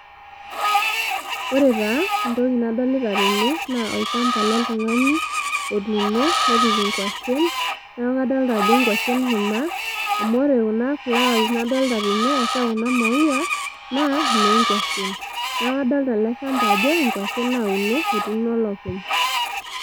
Ore taa entoki nadolita tene naa olchamba loltungani otuuno nepik inkwashen ,niaku kadolta ajo inkwashen kuna ,amuore kuna flowers nadolta tene ashuaa kuna maua naa inoo nkwashen . Niaku kadolita ele shamba ajo nkwashen nauno , etuuno olopeny.